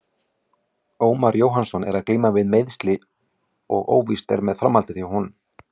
Ómar Jóhannsson er að glíma við meiðsli og óvíst er með framhaldið hjá honum.